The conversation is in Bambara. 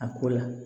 A ko la